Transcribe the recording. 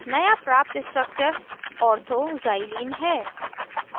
नया प्राप्त structure orthoxylene है